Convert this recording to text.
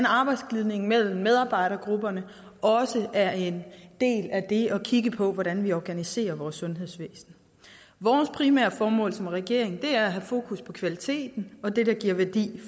arbejdsglidningen mellem medarbejdergrupperne også er en del af det at kigge på hvordan vi organiserer vores sundhedsvæsen vores primære formål som regering er at have fokus på kvaliteten og det det giver værdi